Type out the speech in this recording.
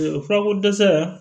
Furako dɛsɛ